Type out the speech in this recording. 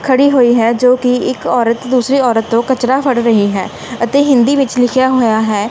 ਖੜੀ ਹੋਈ ਹੈ ਜੋ ਕਿ ਇੱਕ ਔਰਤ ਦੂਸਰੀ ਔਰਤ ਤੋਂ ਕਚਰਾ ਫੜ ਰਹੀ ਹੈ ਅਤੇ ਹਿੰਦੀ ਵਿੱਚ ਲਿਖਿਆ ਹੋਇਆ ਹੈ --